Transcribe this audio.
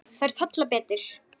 Þær tolla betur.